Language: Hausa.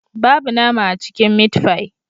Babu nama a cikin mitfai